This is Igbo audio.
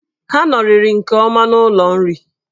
Ha nọrịrị nke ọma n'ụlọ nri.